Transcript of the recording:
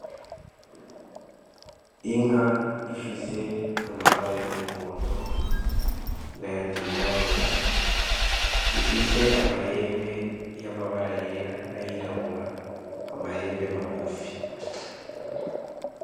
Inka ifise amabara y'umuhondo n'ayandi yirabura. Ifise amahembe y'amabara yera n'ayirabura, amahembe magufi.